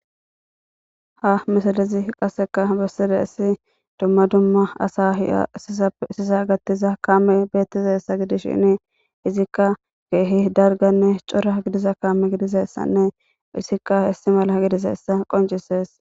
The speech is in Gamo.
ha misalezi qasseka bessire issi dumma dumma asa hiya sisa gattiza kaame beettizassa gidis shini izikka keehi darganne cora gidiza kaame gidizeyssanne isikka histi mala gidizeyssa qoncisees